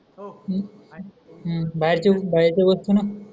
बाहेरचे बाहेरचे वस्तु न